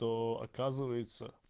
то оказывается